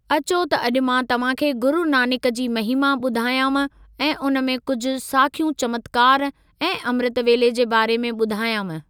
अचो त अॼु मां तव्हां खे गुरुनानक जी महिमा ॿुधायव ऐं उन में कुझु साखियूं चमत्कार ऐ अमृत वेले जे बारे में ॿुधायाव।